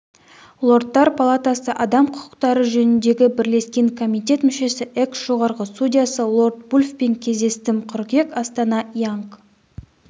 лордтар палатасы адам құқықтары жөніндегі бірлескен комитет мүшесі экс-жоғарғы судьясы лорд вульфпен кездестім қыркүйек астана янг